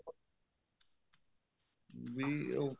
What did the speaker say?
ਵੀ ਉਹ